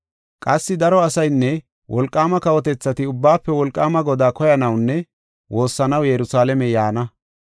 Qassi daro asaynne wolqaama kawotethati Ubbaafe Wolqaama Godaa koyanawunne woossanaw Yerusalaame yaana.